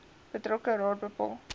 betrokke raad bepaal